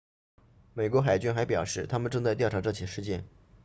美国海军还表示他们正在调查这起事件